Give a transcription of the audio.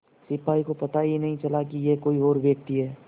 सिपाही को पता ही नहीं चला कि यह कोई और व्यक्ति है